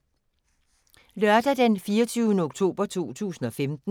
Lørdag d. 24. oktober 2015